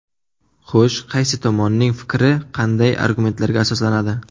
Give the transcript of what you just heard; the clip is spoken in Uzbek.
Xo‘sh, qaysi tomonning fikri qanday argumentlarga asoslanadi?